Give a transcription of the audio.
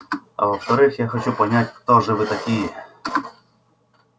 а во-вторых я хочу понять кто же вы такие